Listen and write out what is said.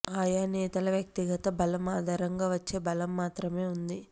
ఆయా నేతల వ్యక్తిగత బలం ఆధారంగా వచ్చే బలం మాత్రమే ఉంది